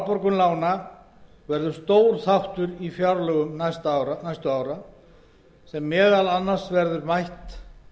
og afborgun lána verður stór þáttur í fjárlögum næstu ára sem meðal annars verður mætt